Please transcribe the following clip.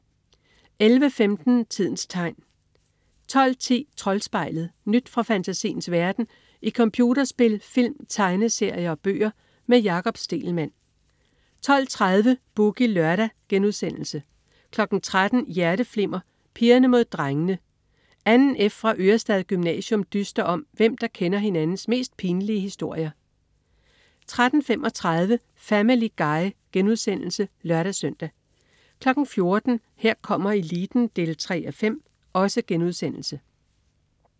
11.15 Tidens Tegn 12.10 Troldspejlet. Nyt fra fantasiens verden i computerspil, film, tegneserier og bøger. Med Jakob Stegelmann 12.30 Boogie Lørdag* 13.00 Hjerteflimmer: Pigerne mod drengene. 2. F fra Ørestad Gymnasium dyster om hvem, der kender hinandens mest pinlige historier 13.35 Family Guy* (lør-søn) 14.00 Her kommer eliten 3:5*